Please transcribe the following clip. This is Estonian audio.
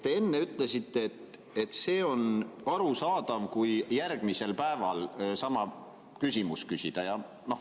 Te enne ütlesite, et see on arusaadav, kui järgmisel päeval sama küsimus küsida.